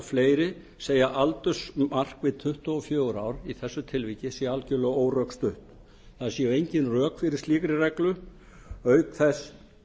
fleiri segja að aldursmark við tuttugu og fjögur ár í þessu tilviki sé algjörlega órökstutt það séu engin rök fyrir slíkri reglu auk þess